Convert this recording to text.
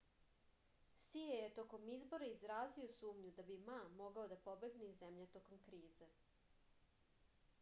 sije je tokom izbora izrazio sumnju da bi ma mogao da pobegne iz zemlje tokom krize